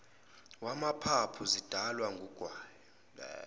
wamaphaphu zidalwa wugwayi